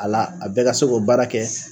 A la a bɛɛ ka se k'o baara kɛ